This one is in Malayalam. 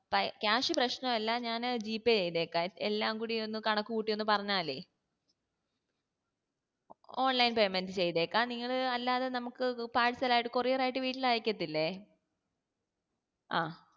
cash പ്രശ്‌നവല്ല ഞാന് ജീപേ ചെയ്തേക്കാ എല്ലാം കൂടി കണക്ക് കൂട്ടി ഒന്ന് പറഞ്ഞാല് online payment ചെയ്തേക്കാ നിങ്ങള് അല്ലാതെ നമുക്ക് parcel ആയിട്ട് courier ആയിട്ട് വീട്ടിൽ അയക്കത്തില്ലേ ആ